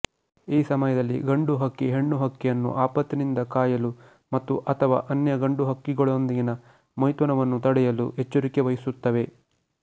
ಈ ಸಮಯದಲ್ಲಿ ಗಂಡು ಹಕ್ಕಿ ಹೆಣ್ಣು ಹಕ್ಕಿಯನ್ನು ಆಪತ್ತಿನಿಂದ ಕಾಯಲು ಮತ್ತುಅಥವಾ ಅನ್ಯ ಗಂಡು ಹಕ್ಕಿಗಳೊಂದಿಗಿನ ಮೈಥುನವನ್ನು ತಡೆಯಲು ಎಚ್ಚರಿಕೆವಹಿಸುತ್ತವೆ